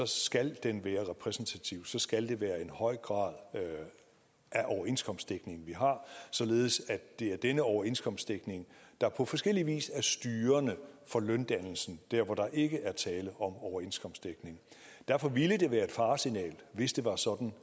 skal den være repræsentativ så skal det være en høj grad af overenskomstdækning vi har således at det er denne overenskomstdækning der på forskellig vis er styrende for løndannelsen der hvor der ikke er tale om overenskomstdækning derfor ville det være et faresignal hvis det var sådan